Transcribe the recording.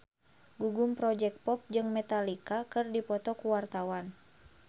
Gugum Project Pop jeung Metallica keur dipoto ku wartawan